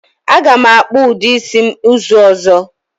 Aga m akpu udi isi m uzu ozo.